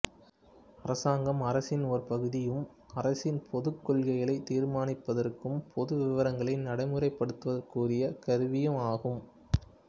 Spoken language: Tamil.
அரசாங்கம் அரசின் ஒரு பகுதியும் அரசின் பொதுக் கொள்கைகளைத் தீர்மானிப்பதற்கும் பொது விவகாரங்களை நடைமுறைப்படுத்துவதற்குரிய கருவியுமாகும்